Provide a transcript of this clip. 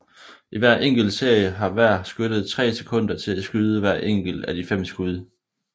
I hver enkelt serie har hver skytte tre sekunder til at skyde hver enkelt af de fem skud